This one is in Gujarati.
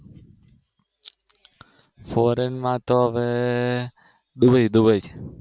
કેનેડા માં તો હવે દુબઈ